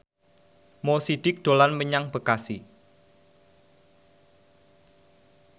Mo Sidik dolan menyang Bekasi